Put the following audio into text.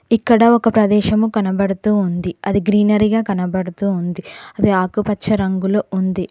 ఇక్కడ ఒక ప్రదేశము కనబడుతూ ఉంది అది గ్రీనరీగా కనబడుతూ ఉంది అది ఆకుపచ్చ రంగులో ఉంది.